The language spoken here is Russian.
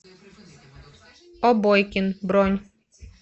обойкин бронь